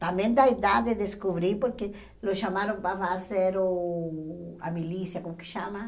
Também da idade, descobri, porque o chamaram para fazer uh a milícia, como que chama?